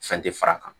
Fɛn tɛ fara a kan